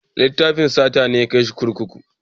Laifin sata ne ya kai shi kurkuku.